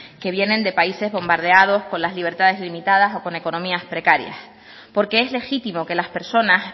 que vienen de países bombardeados con las libertades limitadas o con economías precarias porque es legítimo que las personas